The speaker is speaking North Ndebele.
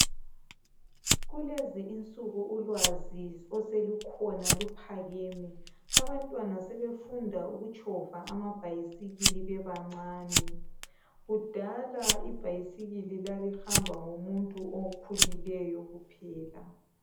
Kulezi insuku ulwazi oselukhona luphakeme. Abantwana sebefunda ukutshova amabhayisikili bebancane. Kudala ibhayisikili, lalihamba ngomuntu okhulileyo kuphela.